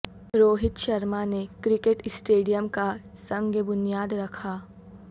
روہت شرما نے cricket stadium کا سنگ بنیاد رکھا